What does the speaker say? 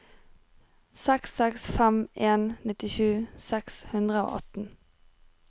seks seks fem en nittisju seks hundre og atten